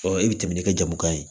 Ɔ i bɛ tɛmɛ ni ka jamu kan ye